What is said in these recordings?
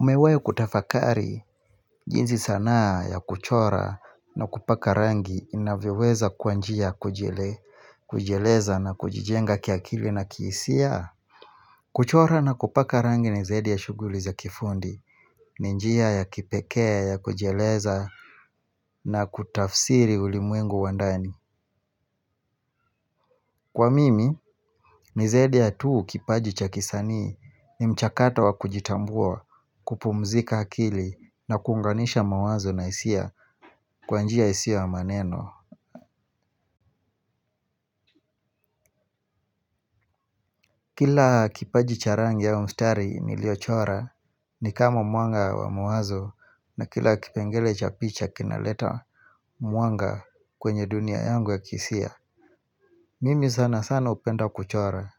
Umewe kutafakari, jinzi sanaa ya kuchora na kupaka rangi inavyeweza kwa njia kujieleza na kujijenga kiakili na kiisia kuchora na kupaka rangi ni zedi ya shuguli za kifundi, ni njia ya kipekea ya kujieleza na kutafsiri ulimwengu wandani Kwa mimi, nizaidi ya tuu kipaji cha kisanii ni mchakata wa kujitambua kupumzika akili na kunganisha mawazo na isia kwa njia isio ya maneno Kila kipaji cha rangi ya umstari nilio chora ni kama muanga wa mawazo na kila kipengele cha picha kinaleta muanga kwenye dunia yangu ya kisia Mimi sana sana hupenda kuchora.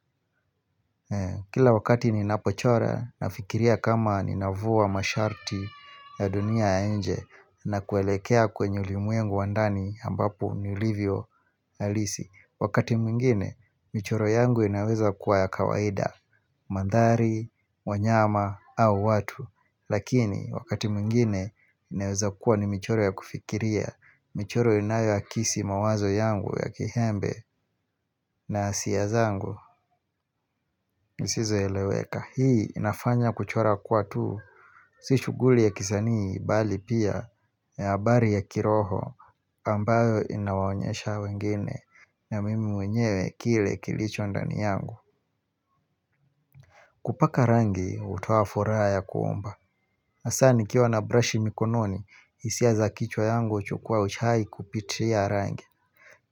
Kila wakati ni napochora, nafikiria kama ni navuwa masharti ya dunia inje na kuelekea kwenye ulimuengu wandani ambapo nilivyo halisi. Wakati mwingine, michoro yangu inaweza kuwa ya kawaida, mandhari, wanyama au watu. Lakini wakati mwingine inaweza kuwa ni michoro ya kufikiria michoro inayo akisi mawazo yangu ya kiembe na hisia zangu nisizoeleweka hii inafanya kuchora kuwa tu Si shuguli ya kisanii bali pia ya habari ya kiroho kama ambayo inawanyesha wengine na mimi mwenyewe kile kilicho ndani yangu kupaka rangi hutoa furaha ya kuomba hasa ni kiwa na brush mikononi isia za kichwa yangu chukua uchai kupitia rangi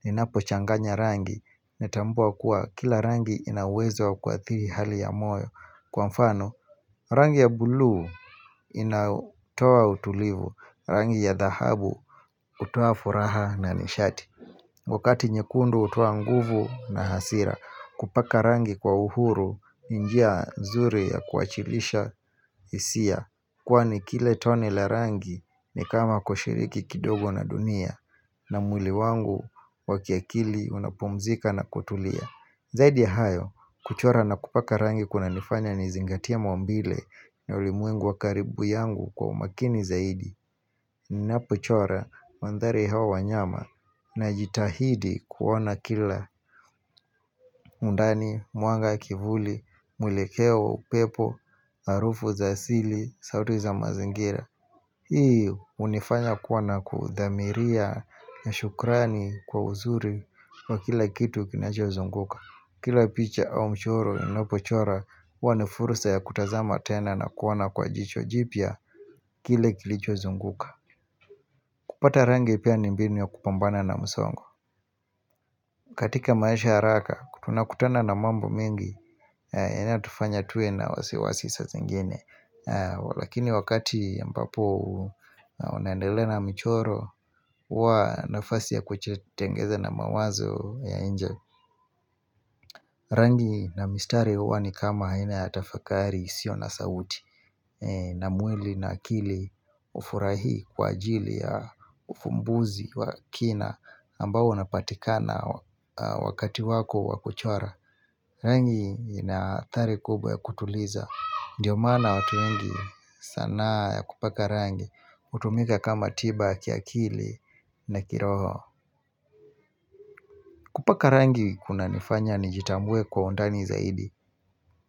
Ninapo changanya rangi natambua kuwa kila rangi inawezo wa kuathiri hali ya moyo kwa mfano rangi ya buluu inatoa utulivu rangi ya dhahabu hutoa furaha na nishati Wakati nyekundu hutoa nguvu na hasira kupaka rangi kwa uhuru njia nzuri ya kuachilisha hisia Kwani kile tone la rangi ni kama kushiriki kidogo na dunia na mwili wangu wakiakili unapomzika na kutulia Zaidi ya hayo kuchora na kupaka rangi kuna nifanya nizingatia maumbile na ulimwengu wakaribu yangu kwa umakini zaidi ninapochora mandhari hawa wanyama na jitahidi kuona kila undani, muanga kivuli, mwilekeo, pepo, harufu za sili, sauti za mazingira Hii unifanya kuwana kudamiria ya shukrani kwa uzuri wa kila kitu kinacho nizunguka Kila picha au mchoro inopochora huwanifurusa ya kutazama tena na kuwana kwa jicho jipya kile kilicho uzunguka kupata rangi pia ni mbinu ya kupambana na msongo katika maisha haraka, tunakutana na mambo mingi ena tufanya tuwe na wasiwasi sa zingine Walakini wakati mpapo unaendele na michoro huwa nafasi ya kujitengeza na mawazo ya inje Rangi na mistari huwa ni kama haina ya tafakari sio na sauti na mwili na akili hufurahi kwa ajili ya uvumbuzi wa kina ambao unapatikana wakati wako wakuchora rangi inaathari kubwa ya kutuliza ndiyo maana watu wengi sanaa ya kupaka rangi hutumika kama tiba, kiakili na kiroho kupaka rangi kuna nifanya ni jitambue kwa undani zaidi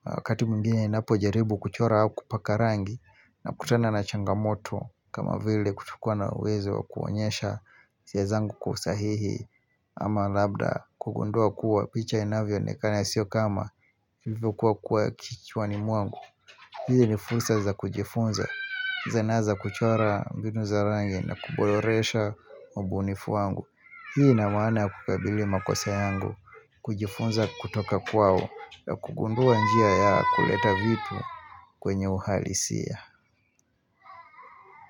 Wakati mwingine ninapo jaribu kuchora au kupaka rangi na kutana na changamoto kama vile kutukua na uwezo kuonyesha hisia zangu kusahihi ama labda kugundua kuwa picha inavyoonekana sio kama hivyo kuwa kuwa kichwani mwangu hizi ni fursa za kujifunza Zanaa za kuchora binuu za rangi na kuboresha ubunifu wangu hii na maana kukabili makosa yangu kujifunza kutoka kwao na kugundua njia ya kuleta vitu kwenye uhalisia.